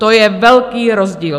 To je velký rozdíl.